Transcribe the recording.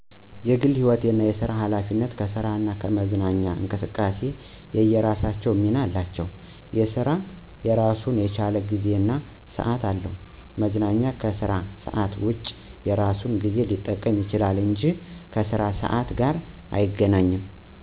የግል ህይወትና የስራ ሀላፊነት ከስራና ከመዝናኛ እንቅስቃሴዎች የየራሳቸው ሚና አላቸው። የስራ እራሱን የቻለ ጊዜ እና ሰዓት አለው። መዝናኛም ከስራ ሰዓት ውጭ የራሱን ጊዜ ሊጠቀም ይችላል እንጂ ከስራ ሰዓት ጋር አይገናኝም።